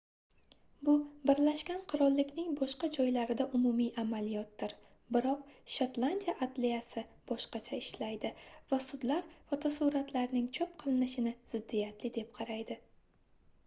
bu birlashgan qirollikning boshqa joylarida umumiy amaliyotdir biroq shotlandiya adliyasi boshqacha ishlaydi va sudlar fotosuratlarning chop qilinishini ziddiyatli deb qaraydi